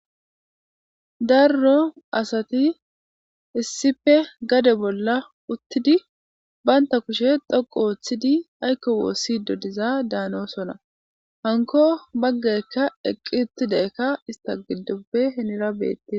Darro asati issippe gade bolla uttidi baynta kuushshe dhoqu ooththidi aykko woossiddo dizadahanosona hankko baggaykka eqqi uttidaykka ista gidoppe henera beettees